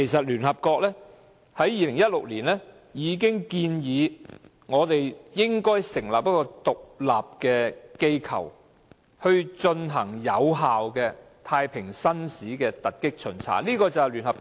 聯合國在2016年已建議我們成立一個獨立機構，進行有效的太平紳士突擊巡查行動。